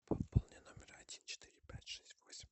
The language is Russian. пополни номер один четыре пять шесть восемь